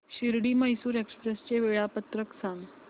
Shirdi Mysore express चे वेळापत्रक सांग